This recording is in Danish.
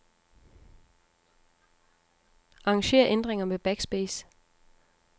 Arranger ændringer med backspace.